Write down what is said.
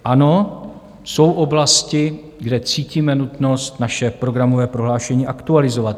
Ano, jsou oblasti, kde cítíme nutnost naše programové prohlášení aktualizovat.